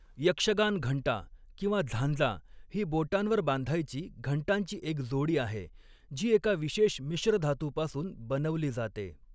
यक्षगान घंटा किंवा झांजा ही बोटांवर बांधायची घंटांची एक जोडी आहे, जी एका विशेष मिश्रधातूपासून बनवली जाते.